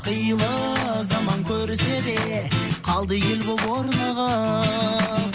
қилы заман көрседе қалды ел болып орнығып